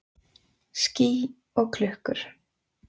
Ský og klukkur.